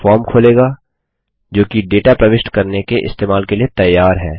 यह फॉर्म खोलेगा जोकि डेटा प्रविष्ट करने के इस्तेमाल के लिए तैयार है